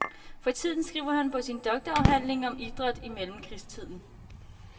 For tiden skriver han på sin doktorafhandling om idræt i mellemkrigstiden.